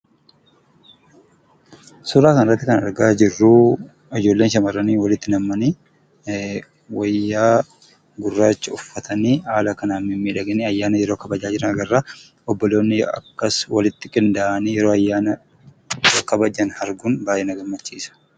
Suuraa kanarratti kan argaa jirru ijoolleen shamarranii walitti nam'anii wayyaa gurraacha uffatanii haala kanaan mimmiidhaganii ayyaana yeroo kabajaa jiran agarra. Obboloonni akkas walitii qindaa'anii yeroo ayyaana kabajan arguun baay'ee na gammachiisa.